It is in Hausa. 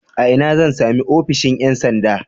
A ina zan sami ofishin ƴan sanda?